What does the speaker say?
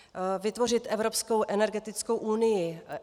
Vytvořit evropskou energetickou unii.